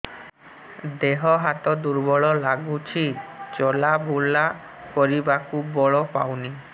ଦେହ ହାତ ଦୁର୍ବଳ ଲାଗୁଛି ଚଲାବୁଲା କରିବାକୁ ବଳ ପାଉନି